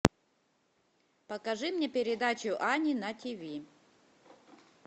покажи мне передачу ани на тиви